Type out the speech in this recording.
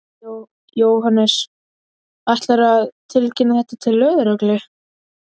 Jóhannes: Ætlarðu að tilkynna þetta til lögreglu?